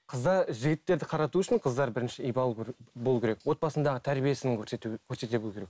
қыздар жігіттерді қарату үшін қыздар бірінші ибалы болу керек отбасындағы тәрбиесін көрсету көрсете білу керек